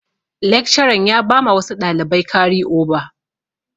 Lekcaran ya bama wasu ɗalibai kari oba.